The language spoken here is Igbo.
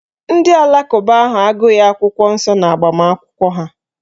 Ndị alakụba ahụ agụghị akwụkwọ nsọ n'agbamakwụkwọ ha